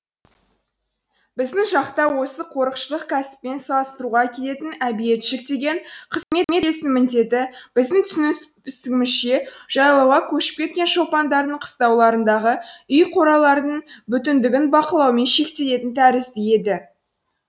біздің жақта осы қорықшылық кәсіппен салыстыруға келетін әбиетшік деген иесінің міндеті біздің түсінігімізше жайлауға көшіп кеткен шопандардың қыстауларындағы үй қоралардың бүтіндігін бақылаумен шектелетін тәрізді еді